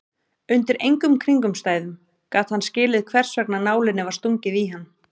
Undir engum kringumstæðum gat hann skilið hversvegna nálinni var stungið í hann.